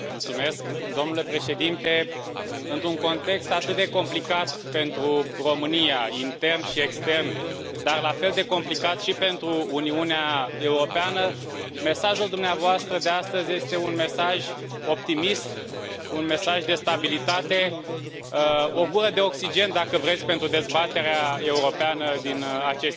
Domnule Președinte, într un context atât de complicat pentru România, intern și extern, dar la fel de complicat și pentru Uniunea Europeană, mesajul dumneavoastră de astăzi este un mesaj optimist, un mesaj de stabilitate, o gură de oxigen, dacă vreți, pentru dezbaterea europeană din aceste zile.